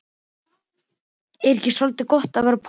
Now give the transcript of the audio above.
Er ekki soldið gott að vera póstur?